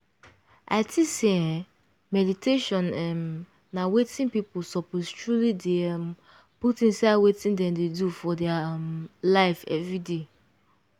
i think say eeh meditation um na wetin people suppose truely dey um put inside wetin dem dey do for dia um life everyday.